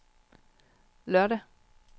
lørdag